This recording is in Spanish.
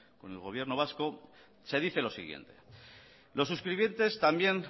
con el gobierno vasco se dice lo siguiente los suscribientes también